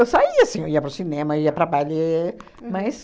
saía, sim, eu ia para o cinema, ia para baile, mas